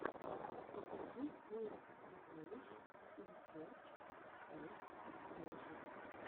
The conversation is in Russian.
покажи в поисках сокровищ ин серч оф трэжэс